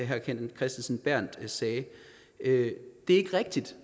herre kenneth kristensen berth sagde det er ikke rigtigt